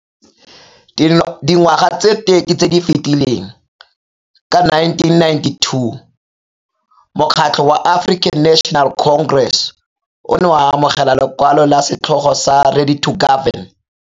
Dingwaga tse 30 tse di fetileng, ka 1992, Mokgatlho wa African National Congress o ne wa amogela lekwalo la setlhogo sa 'Ready to Govern'.